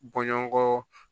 Bɔɲɔgɔnkɔ